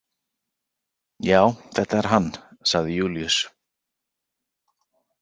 Já, þetta er hann, sagði Júlíus.